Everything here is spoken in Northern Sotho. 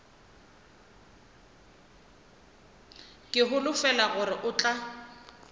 ke holofela gore o tla